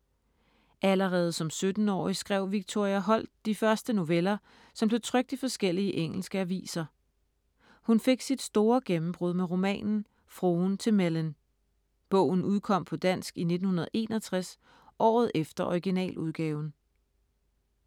Allerede som 17-årig skrev Victoria Holt de første noveller, som blev trykt i forskellige engelske aviser. Hun fik sit store gennembrud med romanen Fruen til Mellyn. Bogen udkom på dansk i 1961, året efter originaludgaven.